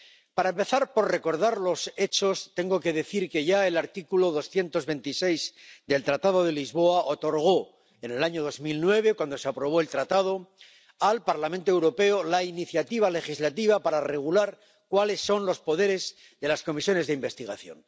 Para empezar por recordar los hechos, tengo que decir que ya el artículo 226 del Tratado de Funcionamiento de la Unión Europea otorgó en el año 2009, cuando se aprobó el Tratado de Lisboa, al Parlamento Europeo la iniciativa legislativa para regular cuáles son los poderes de las comisiones de investigación.